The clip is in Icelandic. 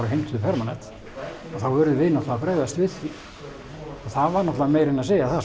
og heimtuðu permanent þá urðum við að bregðast við því það var náttúrulega meira en að segja það